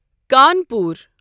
Kanpur